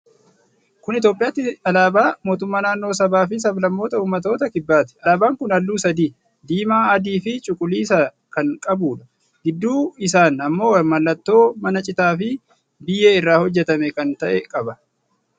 Kun Itoophiyaatti alaabaa Mootummaa Naannoo Sabaafi Sablammoota Umattoota Kibbaatti. Alaabaan kun halluu sadi: diimaa, adii fi cuquliisa kan qabuudha. Gidduu isaan ammoo mallattoo mana citaa fi biyyee irraa hojjjatame kan ta'e qaba.